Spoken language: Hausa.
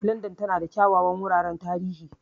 Landan tana da kyawawan wuraren tarihi.